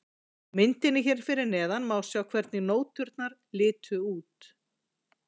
Á myndinni hér fyrir neðan má sjá hvernig nóturnar litu út.